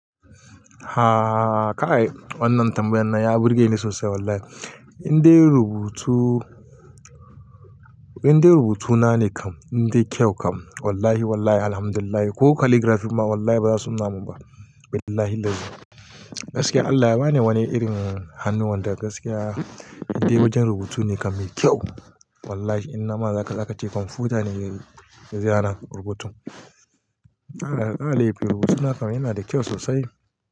Ha kai wannan tambayan nan ya burge ni sosai wallahi. Indai rubutu, indai rubutuna ne kam, indai kyau kam. Wallahi wallahi alhamdulillah ko calligraphy ma wallahi ba za su nuna mu ba. Billahil lazi. Gaskiya Allah ya bani wani irin hannu wanda gaskiya indai wajen rubutu ne kam mai kyau. Wallahi in na ma za ka ce kwamfuta ne ya zana rubutun. A'a, a'a alif rubutuna kam yana da kyau sosai.